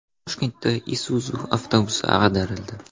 Toshkentda Isuzu avtobusi ag‘darildi.